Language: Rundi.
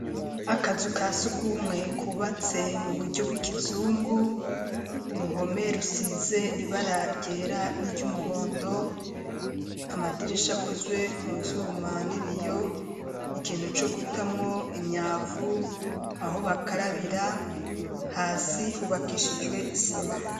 Akazu kasugumwe kubatse mu buryo bw'ikizungu, uruhome rusize ibara ryera n'iry'umuhondo, amadirisha akozwe mu vyuma n'ibiyo, ikintu co gutamo imyavu aho bakarabira hasi hubakishijwe isima.